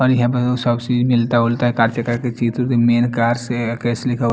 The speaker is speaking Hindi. शोक से ही मिलता हु का से केसे लिखा हुआ है --